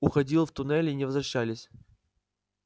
уходил в туннели и не возвращались